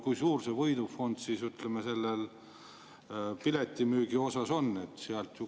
Kui suur see võidufond piletimüügi osas on?